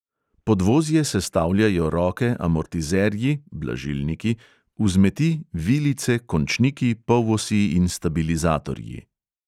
Podvozje sestavljajo roke, amortizerji vzmeti, vilice, končniki, polosi in stabilizatorji.